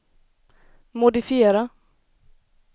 modifiera